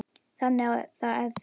Þannig að þá er ég.